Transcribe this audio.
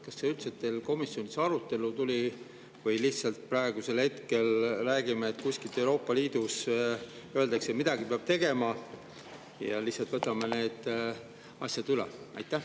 Kas see üldse teil komisjonis arutelule tuli või kui kuskilt Euroopa Liidust öeldakse, et midagi peab tegema, siis me lihtsalt võtame need asjad üle?